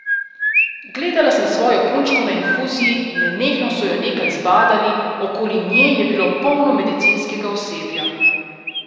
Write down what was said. Gledala sem svojo punčko na infuziji, nenehno so jo nekaj zbadali, okoli nje je bilo polno medicinskega osebja.